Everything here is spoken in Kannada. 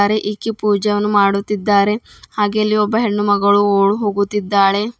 ಅರೆ ಇಕ್ಕಿ ಪೂಜಾ ವನ್ನೂ ಮಾಡುತ್ತಿದ್ದಾರೆ ಹಾಗೆ ಅಲ್ಲಿ ಒಬ್ಬ ಹೆಣ್ಣು ಮಗಳು ಓ ಓಡು ಹೋಗುತ್ತಿದ್ದಾಳೆ.